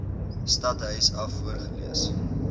stadhuis af voorgelees